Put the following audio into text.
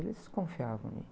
Eles confiavam em mim.